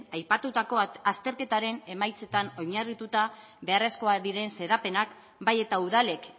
aipatutako azterketaren emaitzetan oinarrituta beharrezkoak diren xedapenak bai eta udalek